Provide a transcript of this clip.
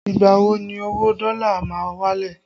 Ìgbà wo ni owó dọ́là ma wálẹ̀?